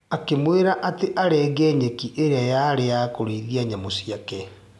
Akĩmwĩra atĩ arenge nyeki ĩrĩa yarĩ ya kũrĩithia nyamũ ciake.